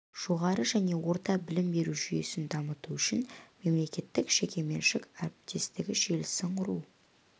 жоғары және орта білім беру жүйесін дамыту үшін мемлекеттік-жекеменшік әріптестігі желісін құру